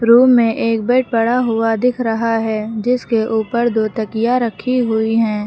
Room में एक bed पड़ा हुआ दिख रहा है जिसके ऊपर दो तकिया रखी हुई है।